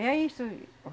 E ey isso.